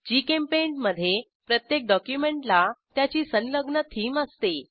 GChemPaint मधे प्रत्येक डॉक्युमेंटला त्याची संलग्न थीम असते